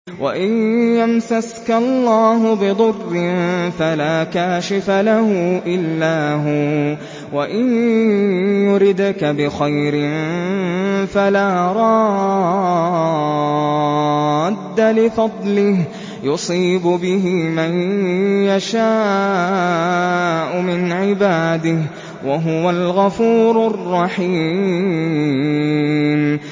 وَإِن يَمْسَسْكَ اللَّهُ بِضُرٍّ فَلَا كَاشِفَ لَهُ إِلَّا هُوَ ۖ وَإِن يُرِدْكَ بِخَيْرٍ فَلَا رَادَّ لِفَضْلِهِ ۚ يُصِيبُ بِهِ مَن يَشَاءُ مِنْ عِبَادِهِ ۚ وَهُوَ الْغَفُورُ الرَّحِيمُ